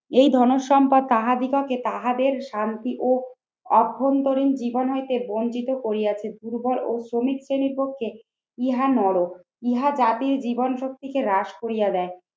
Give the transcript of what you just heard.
এই ধনসম্পদকে তাহাদের শান্তি ও অভ্যন্তরীণ জীবন হইতে বঞ্চিত করিয়াছে। দুর্বল ও শ্রমিক শ্রেণীর পক্ষে ইহা নরক। ইহা জাতি ও জীবন শক্তিকে হ্রাস করিয়া দেয়।